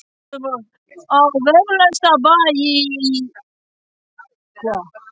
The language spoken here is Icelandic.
lagðar hitaveitur með plaströrum á velflesta bæi í